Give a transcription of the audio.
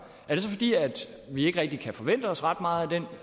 er det så fordi vi ikke rigtig kan forvente os ret meget af den